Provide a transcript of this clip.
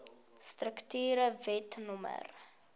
strukture wet no